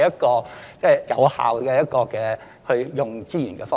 這不是有效運用資源的方法。